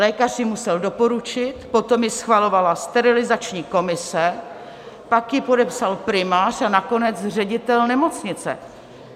Lékař ji musel doporučit, potom ji schvalovala sterilizační komise, pak ji podepsal primář a nakonec ředitel nemocnice.